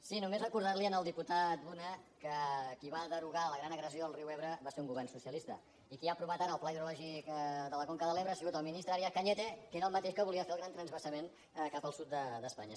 sí només recordar li al diputat luna que qui va derogar la gran agressió al riu ebre va ser un govern socialista i qui ha aprovat ara el pla hidrològic de la conca de l’ebre ha sigut el ministre arias cañete que era el mateix que volia fer el gran transvasament cap al sud d’espanya